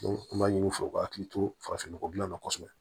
an b'a ɲini u fɛ u ka hakili to farafin nɔgɔ dilanna kosɛbɛ